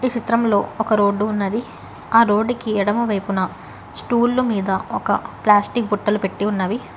ఈ చిత్రంలో ఒక రోడ్డు ఉన్నది ఆ రోడ్డు కి ఎడమవైపున స్టూళ్ళు మీద ఒక ప్లాస్టిక్ బట్టలు పెట్టి ఉన్నవి.